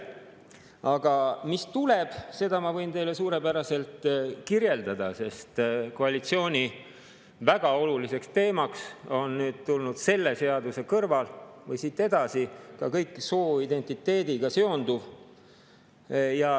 Aga mis tuleb, seda ma võin teile suurepäraselt kirjeldada, sest koalitsiooni väga oluliseks teemaks on nüüd selle seaduse kõrval või siit edasi ka kõik sooidentiteediga seonduv.